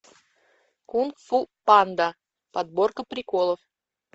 кунг фу панда подборка приколов